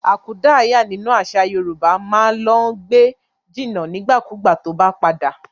Akúdàáyá nínú àṣà Yorùbá ma lọ gbé jìnà nígbàkigbà tó bá padà.